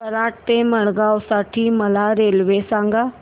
कराड ते मडगाव साठी मला रेल्वे सांगा